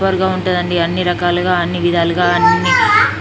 super గా ఉంటాదండి అన్ని రకాలుగా అన్ని విధాలుగా అన్ని--